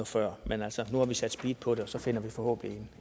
før men altså nu har vi sat speed på det og så finder vi forhåbentlig